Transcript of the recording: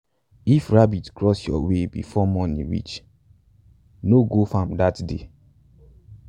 if rabbit cross your way before morning reach no go farm dat day.